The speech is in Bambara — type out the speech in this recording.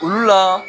Olu la